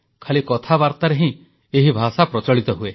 ଖାଲି କଥାବାର୍ତ୍ତାରେ ହିଁ ଏହି ଭାଷା ପ୍ରଚଳିତ ହୁଏ